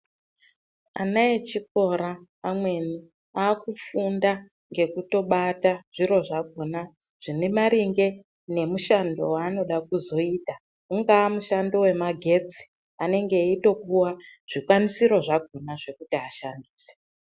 Ana echikora amweni akufunda ngekutobata zviro zvakona zvinemaringe nemushando wanoda kuzoita unga mushando wema getsi anenge eitopuwa zvikwanisiro zvakona zvekuti ashandise.